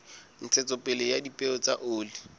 ntshetsopele ya dipeo tsa oli